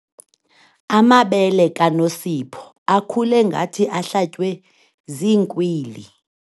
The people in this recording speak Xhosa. Amabele kaNosipho akhule ngathi ahlatywe ziinkwili.